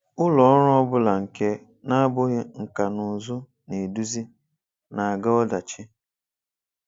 Ụlọ ọrụ ọ bụla nke na-abụghị nkà na ụzụ na-eduzi na-aga ọdachi.